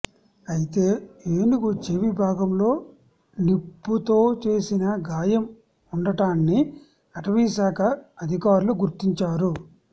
అయితే ఏనుగు చెవి భాగంలో నిప్పుతో చేసిన గాయం ఉండటాన్ని అటవీశాఖ అధికారులు గుర్తించారు